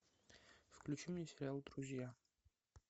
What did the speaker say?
включи мне сериал друзья